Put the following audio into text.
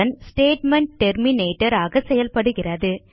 statement terminator ஆக செயல்படுகிறது